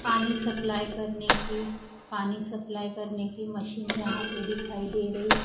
पानी सप्लाई करने की पानी सप्लाई करने की मशीन यहां पे दिखाई दे रही--